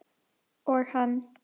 Og hann.